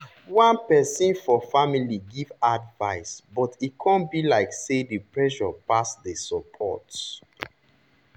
one person for family give advice but e come be like say the pressure pass the support